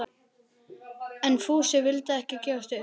En Fúsi vildi ekki gefast upp.